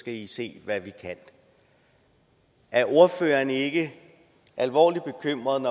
at vise hvad de kan er ordføreren ikke alvorligt bekymret